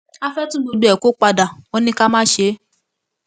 a fẹẹ tún gbogbo ẹ kó padà wọn ní ká má ṣe é